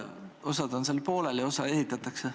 Osa on pooleli, osa ehitatakse.